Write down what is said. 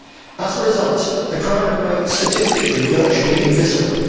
As a result, the crime remains statistically virtually invisible.